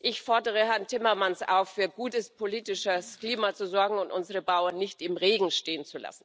Ich fordere Herrn Timmermans auf, für gutes politisches Klima zu sorgen und unsere Bauern nicht im Regen stehen